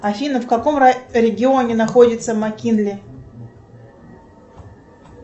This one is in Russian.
афина в каком регионе находится маккинли